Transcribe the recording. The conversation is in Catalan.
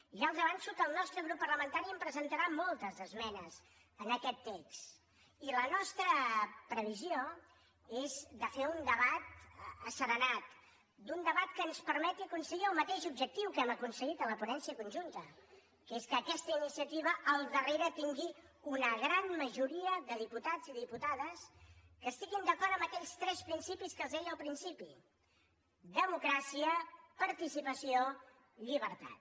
ja els avanço que el nostre grup parlamentari en presentarà moltes d’esmenes a aquest text i la nostra previsió és fer un debat asserenat un debat que ens permeti aconseguir el mateix objectiu que hem aconseguit a la ponència conjunta que és que aquesta iniciativa al darrere tingui una gran majoria de diputats i diputades que estiguin d’acord en aquells tres principis que els deia al principi democràcia participació llibertat